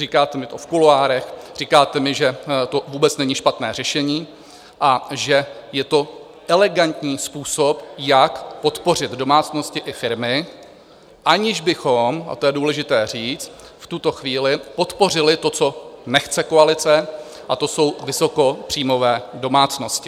Říkáte mi to v kuloárech, říkáte mi, že to vůbec není špatné řešení a že je to elegantní způsob, jak podpořit domácnosti i firmy, aniž bychom - a to je důležité říct v tuto chvíli - podpořili to, co nechce koalice, a to jsou vysokopříjmové domácnosti.